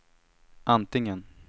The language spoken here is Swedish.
antingen